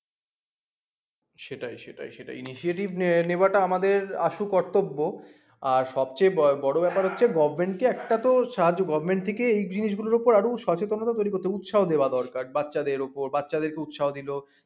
সেটাই সেটাই সেটাই initiative নেয়া টা আমাদের আসল কর্তব্য আর সবচেয়ে বড় ব্যাপার হচ্ছে govt. কে একটা তো সাহায্য govt. থেকেই এই জিনিস গুলোর উপর আরো সচেতনতা তৈরী করতে হবে উৎসাহ দেয়া দরকার বাচ্চাদের উপর বাচ্চাদের কে উৎসাহ দিলো